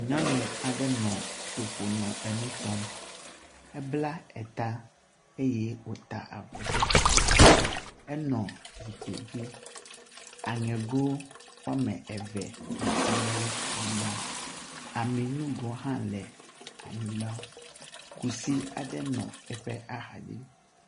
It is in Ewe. Nyɔnu aɖe nɔ tɔƒo nɔ nu tɔm. Ebla ta eye wota avɔ ɖe ali. Enɔ zikpui dzi. Aŋego wome eve nɔ egbɔ le anyigba. Aminugo hã le anyigba. Kusi aɖe nɔ eƒe axa dzi.